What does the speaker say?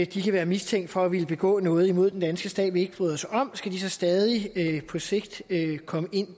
de kan være mistænkt for at ville begå noget imod den danske stat som vi ikke bryder os om skal de så stadig på sigt komme ind